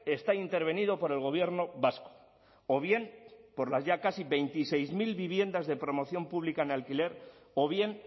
está intervenido por el gobierno vasco o bien por las ya casi veintiséis mil viviendas de promoción pública en alquiler o bien